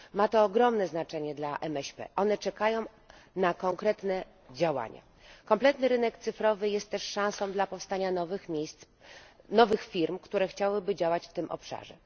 Ma to ogromne znaczenie dla MŚP, które czekają na konkretne działania. Kompletny rynek cyfrowy jest też szansą na powstanie nowych firm, które chciałyby działać w tym obszarze.